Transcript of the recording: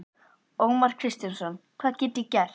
Ómar Kristjánsson: Hvað get ég gert?